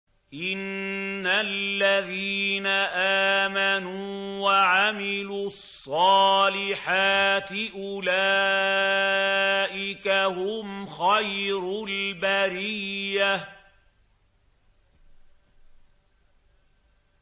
إِنَّ الَّذِينَ آمَنُوا وَعَمِلُوا الصَّالِحَاتِ أُولَٰئِكَ هُمْ خَيْرُ الْبَرِيَّةِ